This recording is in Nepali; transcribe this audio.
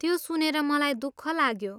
त्यो सुनेर मलाई दुःख लाग्यो।